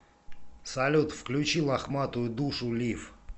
салют включи лохматую душу лив